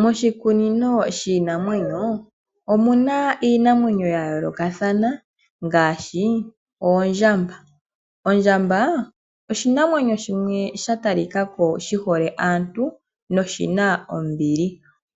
Moshikunino shinaamwenyo omuna iinamwenyo ya yoolokathana ngaashi oondjamba ,ondjamba oshinamwenyo shimwe sha talika ko shi hole aantu noshina ombili